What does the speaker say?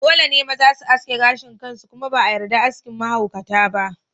Dole ne maza su yanke gashin kansu kuma ba a yarda aski mahaukata ba.